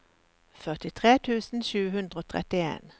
førtitre tusen sju hundre og trettien